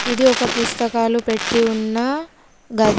ఇది ఒక పుస్తకాలు పెట్టి ఉన్న గది.